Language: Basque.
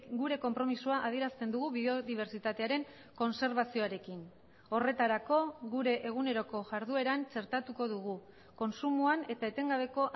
gure konpromisoa adierazten dugu biodibertsitatearen kontserbazioarekin horretarako gure eguneroko jardueran txertatuko dugu kontsumoan eta etengabeko